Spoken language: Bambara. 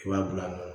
I b'a bila